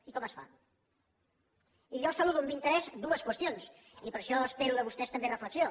i com es fa i jo saludo amb interès dues qüestions i per això espero de vostès també reflexió